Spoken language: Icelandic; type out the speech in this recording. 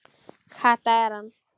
Kata er hann!